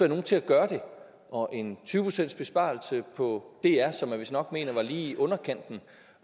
nogen til at gøre det og en tyve procentsbesparelse på dr som man vist nok mener er lige i underkanten